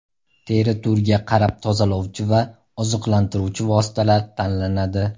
Teri turiga qarab tozalovchi va oziqlantiruvchi vositalar tanlanadi.